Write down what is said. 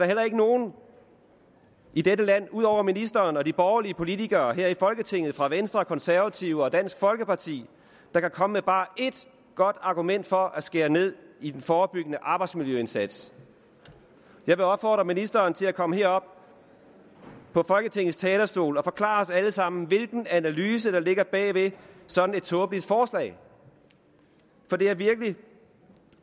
heller ikke nogen i dette land ud over ministeren og de borgerlige politikere her i folketinget fra venstre konservative og dansk folkeparti der kan komme med bare ét godt argument for at skære ned i den forebyggende arbejdsmiljøindsats jeg vil opfordre ministeren til at komme herop på folketingets talerstol og forklare os alle sammen hvilken analyse der ligger bag ved sådan et tåbeligt forslag for det er virkelig